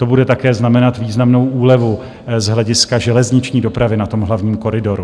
To bude také znamenat významnou úlevu z hlediska železniční dopravy na tom hlavním koridoru.